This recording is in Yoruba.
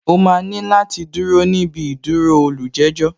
O máa ní láti dúró níbi ìdúró olùjẹ́jọ̀